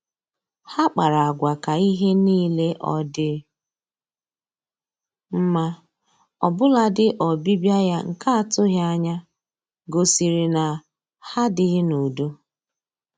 Ha kpara agwa ka ihe niile ọ dị mma, ọbụladị ọbịbịa ya nke atụghị anya gosiri na ha adịghị n'udo